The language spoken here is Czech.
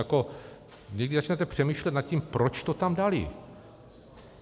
Jako když začnete přemýšlet nad tím, proč to tam dali.